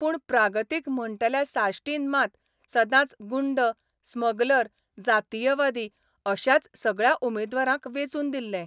पूण प्रागतीक म्हणटल्या साश्टीन मात सदांच गुंड, स्मगलर, जातीयवादी अश्याच सगळ्या उमेदवारांक वेंचून दिल्ले.